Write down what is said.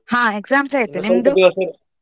ಹಾ ಅದೇ. exams ಅಯ್ತು ?